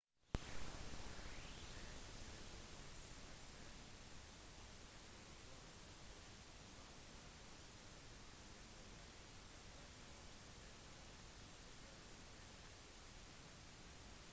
serengeti-regionen har serengeti nasjonalpark ngorongoro konserveringsområde og maswa game reserve i tanzania og maasai mara national reserve i kenya